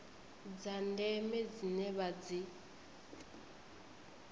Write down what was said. dza ndeme dzine vha dzi